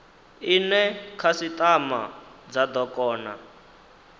ine khasitama dza do kona